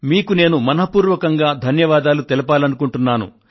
మీకు నేను మనఃపూర్వకంగా ధన్యవాదాలు తెలపాలనుకుంటున్నాను